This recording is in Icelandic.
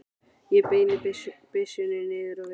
Ég beini byssunni niður á við.